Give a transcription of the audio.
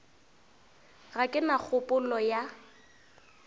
ga ke na kgopolo ya